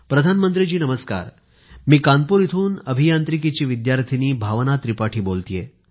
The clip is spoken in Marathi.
प्रधानमंत्रीजी नमस्कार मी कानपूर इथून अभियांत्रिकीची विद्यार्थिनी भावना त्रिपाठी बोलतेय